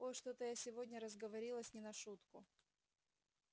ой что-то я сегодня разговорилась не на шутку